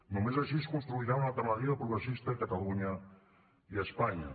només així es construirà una alternativa progressista a catalunya i a espanya